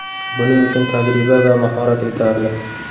Buning uchun tajriba va mahorat yetarli.